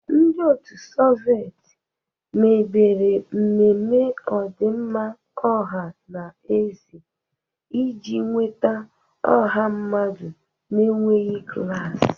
Ndị otu Soveti mebere mmemme ọdịmma ọha na eze iji nweta ọha mmadụ na-enweghị klas.